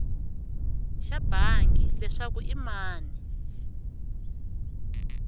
xa bangi leswaku i mani